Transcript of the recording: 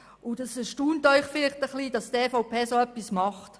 Dass die EVP dergleichen tut, mag Sie vielleicht erstaunen.